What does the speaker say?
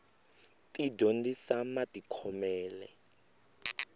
ti dyondzisa matikhomele